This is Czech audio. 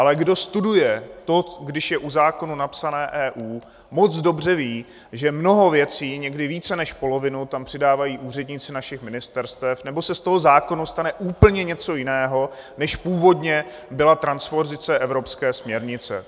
Ale kdo studuje to, když je u zákona napsané EU, moc dobře ví, že mnoho věcí, někdy více než polovinu, tam přidávají úředníci našich ministerstev, nebo se z toho zákona stane úplně něco jiného, než původně byla transpozice Evropské směrnice.